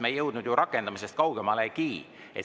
Me ei jõudnud ju rakendamisest kaugemale.